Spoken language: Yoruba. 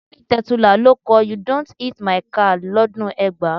Tony Tetuila ló kọ "You don hit my car" lọ́dún ẹgbàá.